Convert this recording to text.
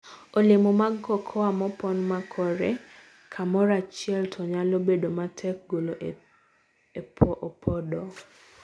Olemo mag cooa mopon makore kamorachiel to nyalo bedo matek golo e opodo.